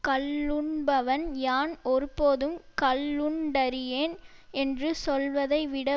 கள்ளுண்பவன் யான் ஒருபோதும் கள்ளுண்டறியேன் என்று சொல்வதை விட